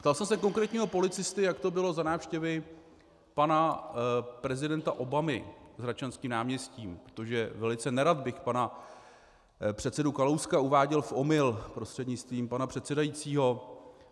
Ptal jsem se konkrétního policisty, jak to bylo za návštěvy pana prezidenta Obamy s Hradčanským náměstím, protože velice nerad bych pana předsedu Kalouska uváděl v omyl prostřednictvím pana předsedajícího.